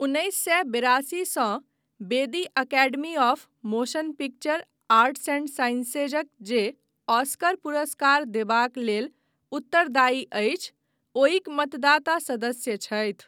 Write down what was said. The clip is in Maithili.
उन्नैस सए बेरासी सँ बेदी Academy of Motion Picture Arts and साइंसेजक, जे ऑस्कर पुरस्कार देबाक लेल उत्तरदायी अछि, ओहिक मतदाता सदस्य छथि।